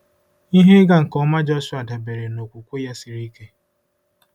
Ihe ịga nke ọma Jọshụa dabeere na okwukwe ya siri ike.